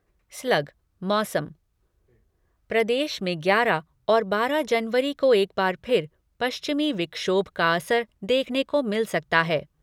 प्रदेश में ग्यारह और बारह जनवरी को एक बार फिर पश्चिमी विक्षोभ का असर देखने को मिल सकता है।